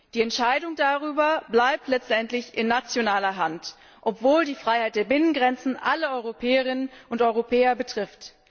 Die Entscheidung darüber bleibt letztendlich in nationaler Hand, obwohl die Freiheit der Binnengrenzen alle Europäerinnen und Europäer betrifft.